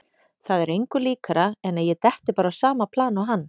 Það er engu líkara en að ég detti bara á sama plan og hann.